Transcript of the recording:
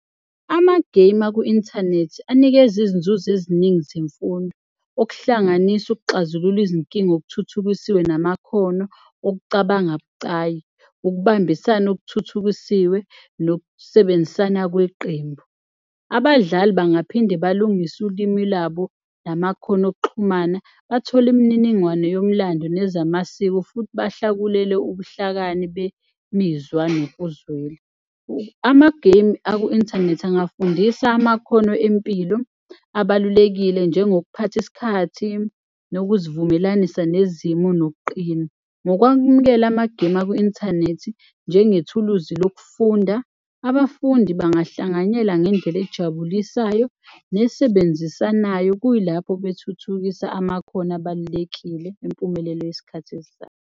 Amagemu aku-inthanethi anikeza izinzuzo eziningi zemfundo okuhlanganisa ukuxazulula izinkinga okuthuthukisiwe namakhono okucabanga abucayi, ukubambisana okuthuthukisiwe nokusebenzisana kweqembu. Abadlali bangaphinde balungise ulimi labo namakhono okuxhumana, bathole imininingwane yomlando nezamasiko futhi bahlakulele ubuhlakani bemizwa nokuzwela. Amagemu aku-inthanethi angafundisa amakhono empilo abalulekile njengokuphatha isikhathi, nokuzivumelanisa nezimo nokuqina. Ngokwakumukela amagemu aku-inthanethi njengethuluzi lokufunda, abafundi bangahlanganyela ngendlela ejabulisayo nesebenzisanayo, kuyilapho bethuthukisa amakhono abalulekile empumelelo yisikhathi esizayo.